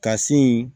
Ka sin in